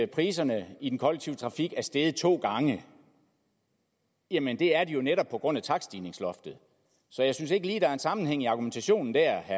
priserne i den kollektive trafik er steget to gange jamen det er de jo netop på grund af takststigningsloftet så jeg synes ikke lige der er en sammenhæng i argumentationen der